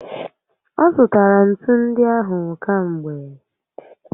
Ọzụtara ntu ndị ahụ kamgbe